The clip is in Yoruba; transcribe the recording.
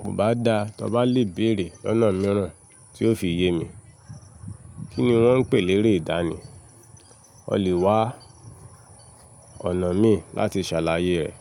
Kò bá da, tọ bá lè béèrè lọná mìíràn tí ó fi yé mi. Kí ni wọ́n ń pè lẹré ìdánì? O lè wá ọ̀nà mí láti ṣàlàyé rẹ̀.